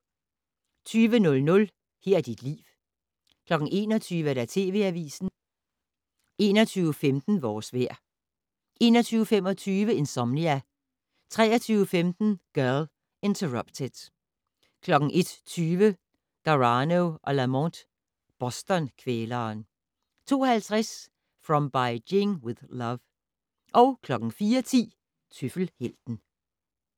20:00: Her er dit liv 21:00: TV Avisen 21:15: Vores vejr 21:25: Insomnia 23:15: Girl, Interrupted 01:20: Garano & Lamont: Boston-kvæleren 02:50: From Beijing with Love 04:10: Tøffelhelten